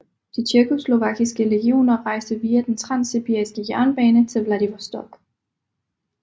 De tjekkoslovakiske legioner rejste via den transsibiriske jernbane til Vladivostok